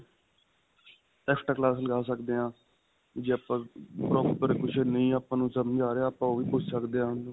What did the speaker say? extra class ਲੱਗਾ ਸਕਦੇ ਹਾਂ ਜੇ ਆਪਾਂ proper ਕੁਝ ਨਹੀ ਆਪਾਂ ਨੂੰ ਸਮਝ ਆ ਰਿਹਾ ਆਪਾਂ ਓਹ ਵੀ ਉਨ੍ਹਾਂ ਨੂੰ ਪੁੱਛ ਸਕਦੇ ਹਾਂ .